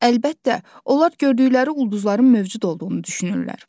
Əlbəttə, onlar gördükləri ulduzların mövcud olduğunu düşünürlər.